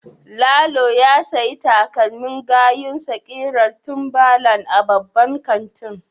Lalo ya sayi takalmin gayunsa kirar timberland a babban kantin.